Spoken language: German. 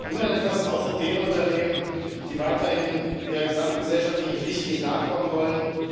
Davon hat niemand etwas außer den Unternehmen, die weiterhin ihrer gesamtgesellschaftlichen Pflicht nicht nachkommen wollen.